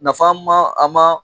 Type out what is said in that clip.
Nafa ma a ma